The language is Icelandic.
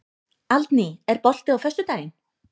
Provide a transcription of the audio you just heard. Aldný, er bolti á föstudaginn?